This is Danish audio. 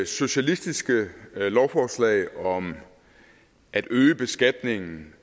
socialistiske lovforslag om at øge beskatningen